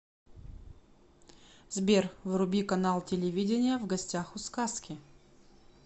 сбер вруби канал телевидения в гостях у сказки